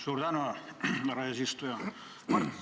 Suur tänu, härra eesistuja!